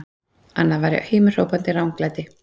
Annað væri himinhrópandi ranglæti!